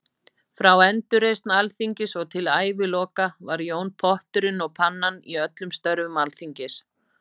Frá endurreisn Alþingis og til æviloka var Jón potturinn og pannan í öllum störfum Alþingis.